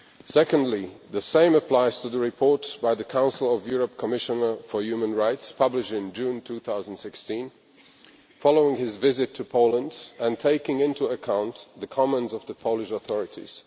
Secondly, the same applies to the report by the Council of Europe Commissioner for Human Rights, published in June 2016 following his visit to Poland and taking into account the comments of the Polish authorities.